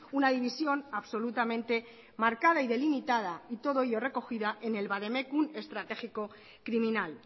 una división absolutamente marcada y delimitada y todo ello recogida en el vademecum estratégico criminal